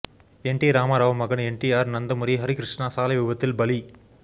என்டி ராமாராவ் மகன் என்டிஆர் நந்தமூரி ஹரிகிருஷ்ணா சாலை விபத்தில் பலி